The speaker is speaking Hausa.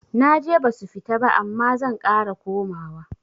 Naje basu fita ba amma zan ƙara komawa